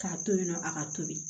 K'a to yen nɔ a ka tobi